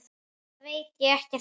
Það veit ég ekkert um.